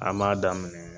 An m'a daminɛ